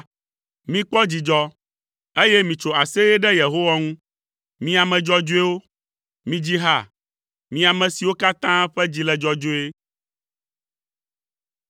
Mikpɔ dzidzɔ, eye mitso aseye ɖe Yehowa ŋu, mi ame dzɔdzɔewo; midzi ha, mi ame siwo katã ƒe dzi le dzɔdzɔe!